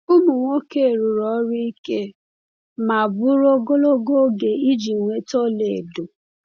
Ụmụ nwoke rụrụ ọrụ ike ma bụrụ ogologo oge iji nweta ọlaedo.